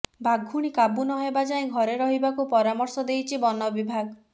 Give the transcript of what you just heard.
ବାଘୁଣୀ କାବୁ ନହେବା ଯାଏ ଘରେ ରହିବାକୁ ପରାମର୍ଶ ଦେଇଛି ବନ ବିଭାଗ